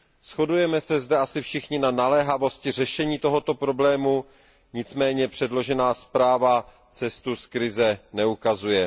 Shodujeme se zde asi všichni na naléhavosti řešení tohoto problému, nicméně předložená zpráva cestu z krize neukazuje.